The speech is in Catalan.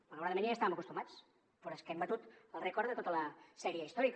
malauradament ja hi estàvem acostumats però és que hem batut el rècord de tota la sèrie històrica